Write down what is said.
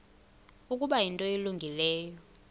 ukuba yinto elungileyo